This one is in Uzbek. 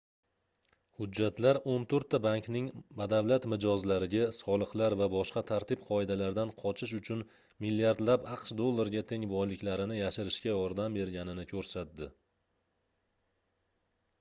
hujjatlar oʻn toʻrtta bankning badavlat mijozlariga soliqlar va boshqa tartib-qoidalardan qochish uchun milliardlab aqsh dollariga teng boyliklarini yashirishga yordam berganini koʻrsatdi